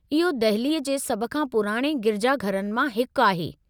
इहो दहिली जे सभु खां पुराणे गिरिजाघरनि मां हिकु आहे।